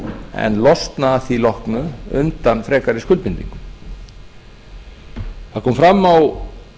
en losna að því loknu undan frekari skuldbindingum það kom fram á